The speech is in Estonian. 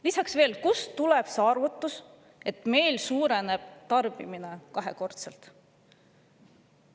Lisaks veel: kust tuleb see arvutus, et meil suureneb tarbimine kahekordselt?